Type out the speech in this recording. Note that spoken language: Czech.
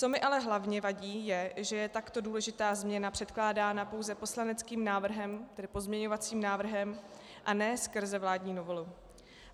Co mi ale hlavně vadí, je, že je takto důležitá změna předkládána pouze poslaneckým návrhem, tedy pozměňovacím návrhem, a ne skrze vládní novelu.